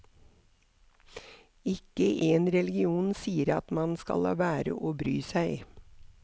Ikke én religion sier at man skal la være å bry seg.